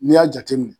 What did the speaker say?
N'i y'a jateminɛ